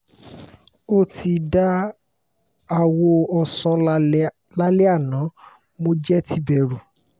o ti da awọ ọsan lalẹ ana mo jẹ ti bẹru